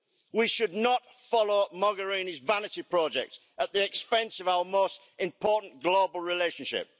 We should not follow Mogherini's vanity project at the expense of our most important global relationship.